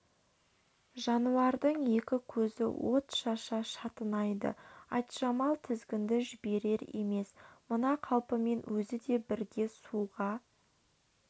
жануардың екі көзі от шаша шатынайды айтжамал тізгінді жіберер емес мына қалпымен өзі де бірге суға